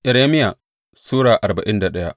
Irmiya Sura arba'in da daya